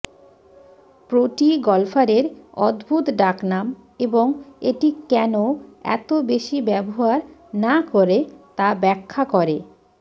প্রোটি গল্ফারের অদ্ভুত ডাকনাম এবং এটি কেন এত বেশি ব্যবহার না করে তা ব্যাখ্যা করে